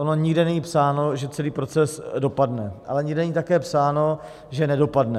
Ono nikde není psáno, že celý proces dopadne, ale nikde není také psáno, že nedopadne.